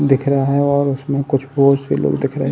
दिख रहा है और उसमें कुछ बहुत से लोग दिख रहे हैं।